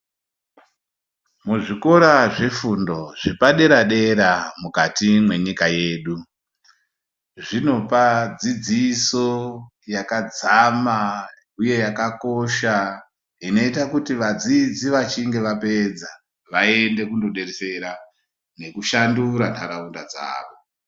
Muzvikora zvefundo zvepadera-dera mukati mwenyika yedu zvinopa dzidziso yakadzama uye yakakosha inoita kuti vadzidzi vachinge vapedza vaende kundodetsera nekushandura ntaraunda dzawo.